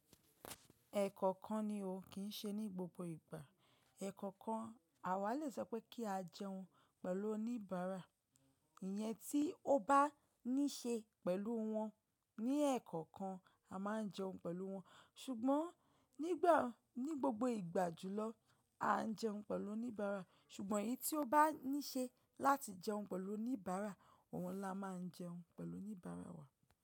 Ẹ̀ẹ̀kọ̀kan ni o kín ṣe ní gbogbo ìgbà. Ẹ̀ẹ̀kọ̀kan àwa le sọ pé kí a jẹun pẹ̀lú oníbàárà. Ìyẹn tí ó bá ní ṣe pẹ̀lú wọn ní ẹ̀ẹ̀kọ̀kan a máa jẹun pẹ̀lú wọn. Ṣùgbọ́n nígbà, ní gbogbo ìgbà jùlọ, a jẹun pẹ̀lú oníbàárà. Ṣùgbọ́n èyí tí ó bá ní ṣe láti jẹun pẹ̀lú oníbàárà, òun ni a máa jẹun pẹ̀lú oníbàárà wa.